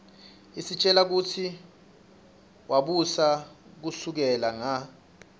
isitjela kutsi wabusa kusukela nga